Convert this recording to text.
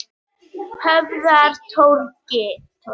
Höfðatorgi